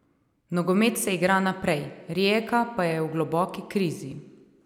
Nogomet se igra naprej, Rijeka pa je v globoki krizi.